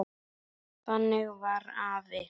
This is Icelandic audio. Þannig var afi.